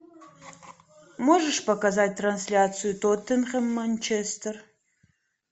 можешь показать трансляцию тоттенхэм манчестер